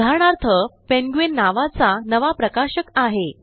उदाहरणार्थ पेंग्विन नावाचा नवा प्रकाशक आहे